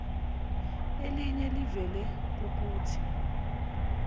eliye livele kukuthi